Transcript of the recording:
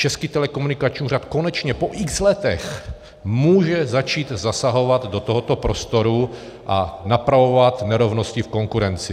Český telekomunikační úřad konečně po x letech může začít zasahovat do tohoto prostoru a napravovat nerovnosti v konkurenci.